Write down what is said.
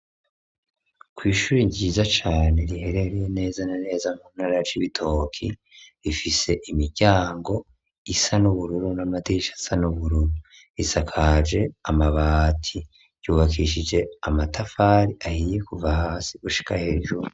Kw'ishure ryiza cane riherereye neza na neza mu ntarara Cibitoke rifise imiryango isa n'ubururu n'amadirisha asa n'ubururu, risakaje amabati, yubakishije amatafari ahiye kuva hasi gushika hejuru.